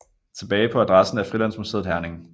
Tilbage på adressen er Frilandsmuseet Herning